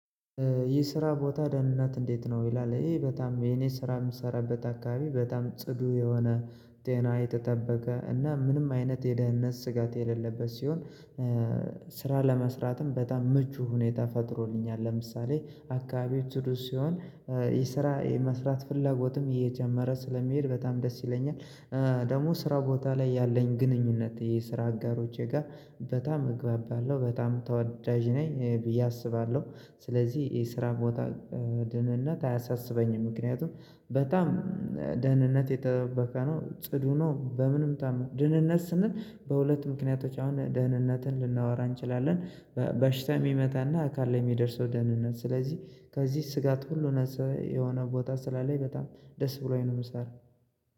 ይህ ስራ ቦታ ደህንነት እንዴት ነው ይላል? ይሄ በጣም የኔ ስራ የምሰራበት አካባቢ በጣም ጽዱ የሆነ ጤና የተጠበቀ እና ምንም አይነት የደህንነት ስጋት የሌለበት ሲሆን። ስራ ለመስራትም በጣም ምቹ ሁኔታ ፈጥሮልኛል። ለምሳሌ አካባቢው ጽዱ ሲሆን የስራ የመስራት ፍላጎትም የጀመረ ስለሚሄድ በጣም ደስ ይለኛል። ደግሞ ስራ ቦታ ላይ ያለኝ ግንኙነት የስራ አጋሮቼ ጋር በጣም እግባብ አለው በጣም ተወዳጅ ነኝ ብዬ አስባለሁ። ስለዚህ የስራ ቦታ ደህንነት አያሳስበኝም። ምክንያቱም በጣም ደህንነቱ የተጠበቀ ነው ጽዱ ነው በምንም ደህንነት ስንል በሁለት ምክንያቶች አሁን ደህንነትን ልናወራ እንችላለን። በሽታ የሚመጣና አካል ላይ የሚደርሰው ደህንነት ስለዚህ ከዚህ ስጋት ሁሉ ነፃ የሆነ ቦታ ስላለኝ በጣም ደስ ብሎኝ ነው የምሰራ።